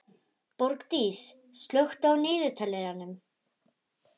Borgdís, slökktu á niðurteljaranum.